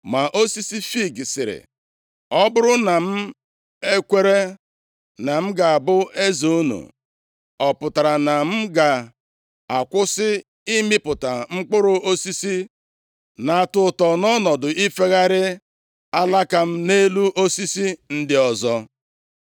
“Ma osisi fiig sịrị, ‘Ọ bụrụ na m ekwere na m ga-abụ eze unu, ọ pụtara na m ga-akwụsị ịmịpụta mkpụrụ osisi na-atọ ụtọ, nọọ ọnọdụ ifegharị alaka m nʼelu osisi ndị ọzọ?’